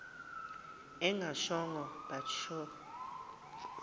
engashongo but sure